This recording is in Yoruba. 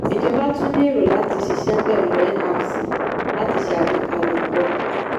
ìjọba tún ní èrò láti ṣiṣẹ́ pẹ̀lú nrc láti ṣé àgbékalẹ̀ ètò ọkọ̀.